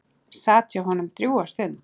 Sat hjá honum drjúga stund.